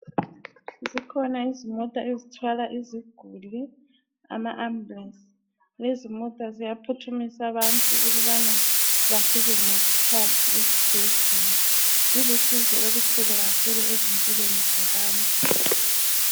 Zikhona izimota ezithwala iziguli, ama amabulensi. Lezi mota ziyaphuthumisa abantu ukubana bafike ngesikhathi esibhedlela. Zilusizo olukhulu kakhulu empilweni zabantu.